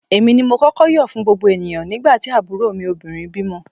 Èmi ni mo kọ́kọ́ yọ̀ fún gbogbo ènìyàn nígbà tí àbúrò mi obìnrin bímọ